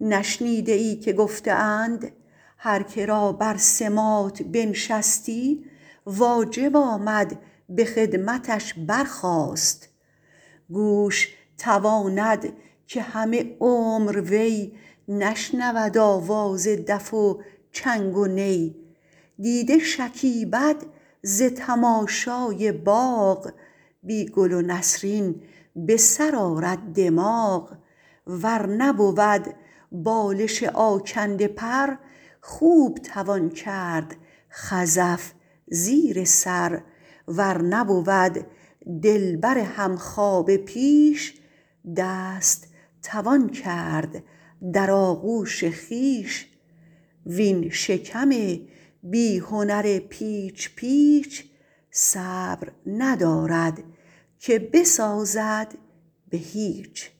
نشنیده ای که گفته اند هر که را بر سماط بنشستی واجب آمد به خدمتش برخاست گوش تواند که همه عمر وی نشنود آواز دف و چنگ و نی دیده شکیبد ز تماشای باغ بی گل و نسرین به سر آرد دماغ ور نبود بالش آکنده پر خواب توان کرد خزف زیر سر ور نبود دلبر همخوابه پیش دست توان کرد در آغوش خویش وین شکم بی هنر پیچ پیچ صبر ندارد که بسازد به هیچ